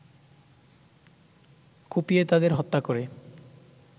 কুপিয়ে তাদের হত্যা করে